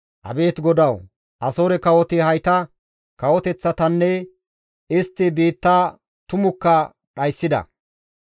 «Abeet GODAWU; Asoore kawoti hayta kawoteththatanne istti biitta tumukka dhayssida;